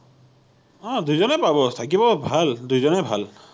অ দুজনেই পাব, থাকিব ভাল দুয়োজনেই ভাল